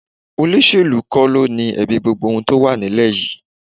Olóṣèlú kọ́ ló ni ẹ̀bi gbogbo tó wà nílẹ̀ yìí